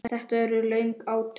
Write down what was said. Þetta urðu löng átök.